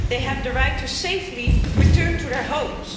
They have the right to safely return to their homes.